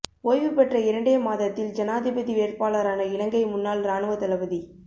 ஓய்வு பெற்ற இரண்டே மாதத்தில் ஜனாதிபதி வேட்பாளரான இலங்கை முன்னாள் ராணுவ தளபதி